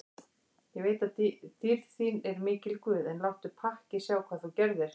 Ég veit að dýrð þín er mikil guð, en láttu pakkið sjá hvað þú gerðir.